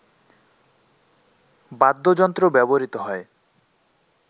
বাদ্যযন্ত্র ব্যবহৃত হয়